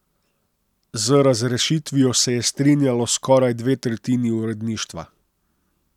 Z razrešitvijo se je strinjalo skoraj dve tretjini uredništva.